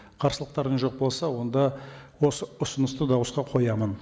қарсылықтарыңыз жоқ болса онда осы ұсынысты дауысқа қоямын